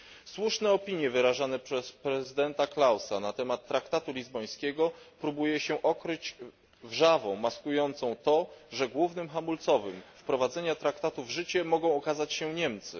Słuszne opinie wyrażone przez prezydenta Klausa na temat traktatu lizbońskiego próbuje się okryć wrzawą maskującą to, że głównym hamulcowym wprowadzenia traktatu w życie mogą okazać się Niemcy.